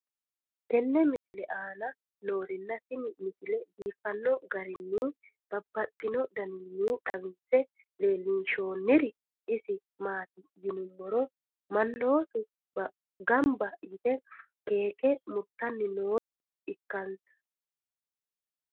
tenne misile aana noorina tini misile biiffanno garinni babaxxinno daniinni xawisse leelishanori isi maati yinummoro manoottu ganbba yiitte keeke murittanni noore ikkansa